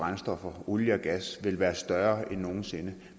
brændstoffer olie og gas vil være større end nogen sinde